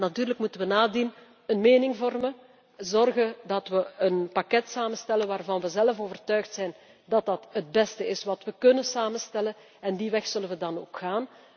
Maar natuurlijk moeten wij nadien een mening vormen, zorgen dat wij een pakket samenstellen waarvan wij zelf overtuigd zijn dat dat het beste is wat wij kunnen samenstellen. En die weg zullen wij dan ook